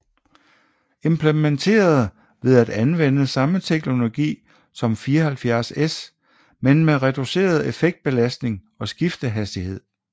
Implementeret ved at anvende samme teknologi som 74S men med reduceret effektbelastning og skiftehastighed